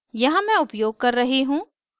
यहाँ मैं उपयोग कर रही हूँ